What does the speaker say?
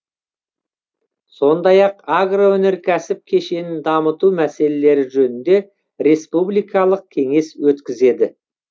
сондай ақ агроөнеркәсіп кешенін дамыту мәселелері жөнінде республикалық кеңес өткізеді